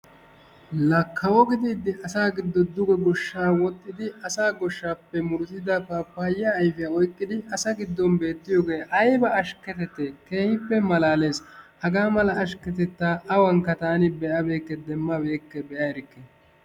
La kawo gidiiddi asa giddon duge goshshaa wodhdhidi asaa goshshaappe murutida paapayaa ayfiya oyqqidi asa giddon beettiyogee ayba ashkketettee? Keehippe malaalees. Hagaa mala ashkketettaa awankka taani be'abeyikke, demmabeyikke, be'a erikke.